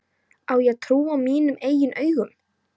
Á ég að trúa mínum eigin augum?